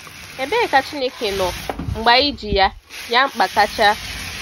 Ebee ka Chineke nọ mgbe anyị ji ya ya mkpa kacha?